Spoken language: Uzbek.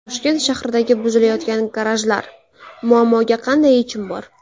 Toshkent shahridagi buzilayotgan garajlar: muammoga qanday yechim bor?.